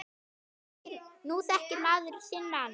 Nú þekkir maður sinn mann.